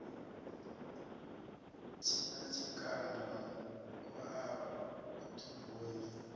tshina tshikanda u a ḓubunya